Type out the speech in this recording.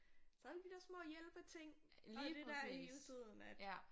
Så der alle de der små hjælpeting og det der hele tiden at